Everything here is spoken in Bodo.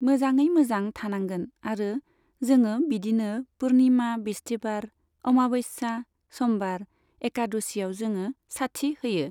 मोजाङै मोजां थानांगोन आरो जोङो बिदिनो पुर्निमा, बिस्तिबार, अमाबस्या, समबार, एकाद'सिआव जोङो साथि होयो।